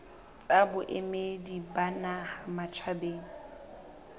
tsa boemedi ba naha matjhabeng